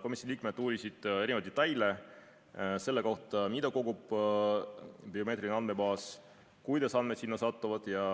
Komisjoni liikmed uurisid erinevaid detaile selle kohta, mida kogub biomeetriline andmebaas, kuidas andmed sinna satuvad ja